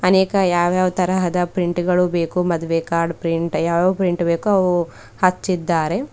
ಅನೇಕ ಯಾವ್ ಯಾವ್ ತರಹದ ಪ್ರಿಂಟ್ಗ ಳು ಬೇಕೊ ಮದುವೆ ಕಾರ್ಡ್ ಪ್ರಿಂಟ್ ಯಾವ ಯಾವ ಪ್ರಿಂಟ್ ಬೇಕೋ ಅವು ಹಚ್ಚಿದ್ದಾರೆ.